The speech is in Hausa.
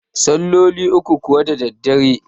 salloli uku kuwa da daddare